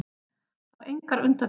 Fær engar undirtektir.